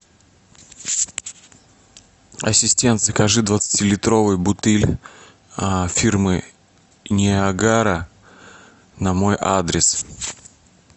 ассистент закажи двадцатилитровую бутыль фирмы ниагара на мой адрес